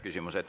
Küsimused.